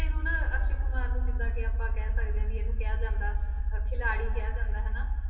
ਹੁਣ ਅਕਸ਼ੇ ਕੁਮਾਰ ਨੂੰ ਜਿੱਦਾਂ ਕਿ ਆਪਾਂ ਕਹਿ ਸਕਦੇ ਹਾਂ ਵੀ ਇਹਨੂੰ ਕਿਹਾ ਜਾਂਦਾ ਅਹ ਖਿਲਾਡੀ ਕਿਹਾ ਜਾਂਦਾ ਹਨਾ।